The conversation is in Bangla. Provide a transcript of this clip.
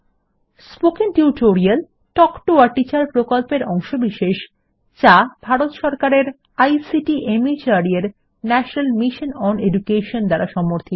spoken tutorial talk to a teacher প্রকল্পের অংশবিশেষ যা ভারত সরকারের আইসিটি মাহর্দ এর ন্যাশনাল মিশন ওন এডুকেশন দ্বারা সমর্থিত